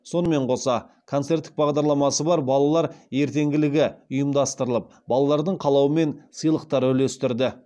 сонымен қоса концерттік бағдарламасы бар балалар ертеңгілігі ұйымдастырылып балалардың қалауымен сыйлықтар үлестірді